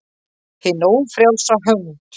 HIN ÓFRJÁLSA HÖND